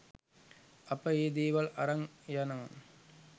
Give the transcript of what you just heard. අප ඒ දේවල් අරන් යනවා.